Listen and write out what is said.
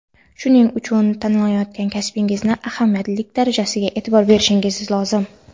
shuning uchun tanlayotgan kasbingizni ahamiyatlilik darajasiga e’tibor berishingiz lozim.